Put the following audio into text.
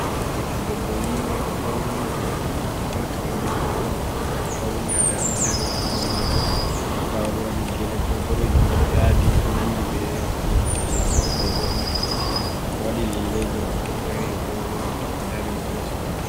Ɓiɗɗo debbo yiwa fauni o nyoti nyutol mako fauni atawa dari hosi hoto, nda oɗo waɗi gele bo boɗejum ɗo yadi ɗo nandi be limse ko ɓorni, o waɗi lelleji mako oɗo dari hosi woto.